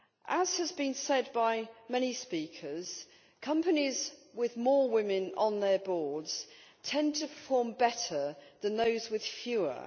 As has been said by many speakers, companies with more women on their boards tend to perform better than those with fewer.